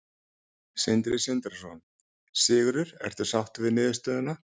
Sindri Sindrason: Sigurður, ertu sáttur við niðurstöðuna?